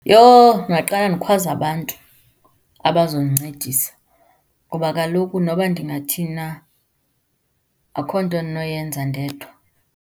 Yho, ndingaqale ndikhwaze abantu abazondincedisa ngoba kaloku nokuba ndingathini na, akukho nto endinoyenza ndedwa.